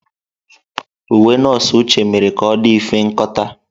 Uwe nọọsụ Uche mere ka ọ dị mfe nkọta.